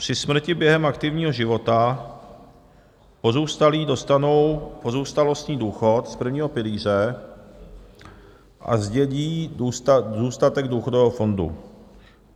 Při smrti během aktivního života pozůstalí dostanou pozůstalostní důchod z prvního pilíře a zdědí zůstatek důchodového fondu.